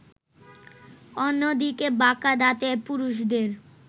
অন্যদিকে বাঁকা দাঁতের পুরুষদের